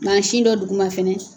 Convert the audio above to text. Masin dɔ dugu ma fana